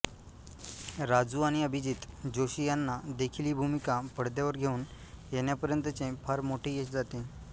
राजू आणि अभिजीत जोशी यांना देखील ही भूमिका पडद्यावर घेऊन येण्यापर्यंतचे फार मोठे यश जाते